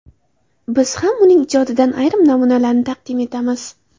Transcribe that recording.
Biz ham uning ijodidan ayrim namunalarni taqdim etamiz.